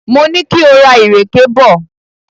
Mo ní kí o ra ìrèké bọ̀.